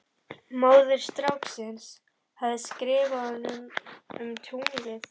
Móðir stráksins hafði skrifað honum um tunglið.